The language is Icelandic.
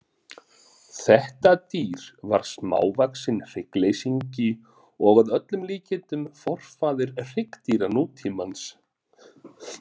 Þetta dýr var smávaxinn hryggleysingi og að öllum líkindum forfaðir hryggdýra nútímans.